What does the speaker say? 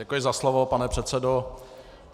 Děkuji za slovo, pane předsedo.